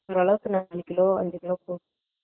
ஒர்ரளவுக்கு அஞ்சுகிலோ அஞ்சுகிலோ இருக்கும்